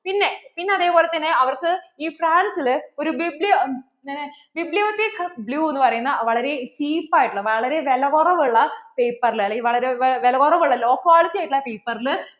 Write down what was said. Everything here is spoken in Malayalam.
ഇന്ന് അതേപോലെ തന്നെ അവർക്കു ഈ France ല് ഒരു BiblioBibliotheque Bleue എന്നു പറയുന്ന വളരെ cheap ആയിട്ട് ഉള്ള, വളരെ വിലകുറവ് ഉള്ള paper ൽ അല്ലെങ്കില്‍ വളരെ വിലകുറവുള്ള അല്ലേൽ വളരെ law quality ആയിട്ടുള്ള paper ല്‍